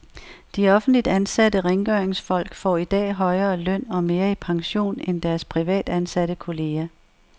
De offentligt ansatte rengøringsfolk får i dag højere løn og mere i pension end deres privatansatte kolleger.